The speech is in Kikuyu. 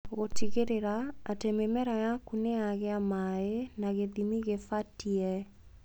gũtigĩrĩra atĩ mĩmera yaku nĩ yagĩ maĩ na gĩthimi gĩbatie.